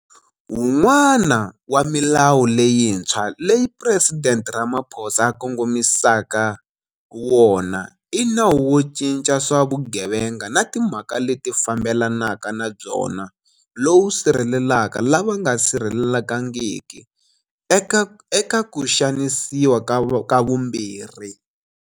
Wun'wana wa milawu leyintshwa leyi Presidente Ramaphosa a kongomisaka wona i Nawu wo Cinca swa Vugevenga na Timhaka leti Fambelanaka na Byona lowu sirhelelaka lava nga sirhelelekangiki eka ku xanisiwa ka vumbirhi.